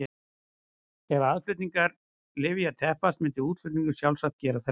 Ef aðflutningur lyfja teppist myndi útflutningur sjálfsagt gera það líka.